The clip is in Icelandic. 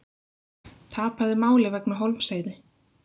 Tapaði máli vegna Hólmsheiði